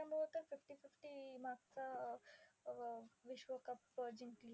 त्याच्यामुळे तरी fifty-fifty मागचा विश्व cup जिंकली.